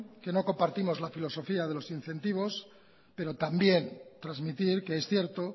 que no compartimos la filosofía de los incentivos pero también transmitir que es cierto